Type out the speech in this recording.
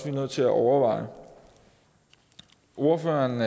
er nødt til at overveje ordføreren